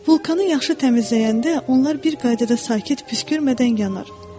Vulkanı yaxşı təmizləyəndə onlar bir qaydada sakit, püskürmədən yanar.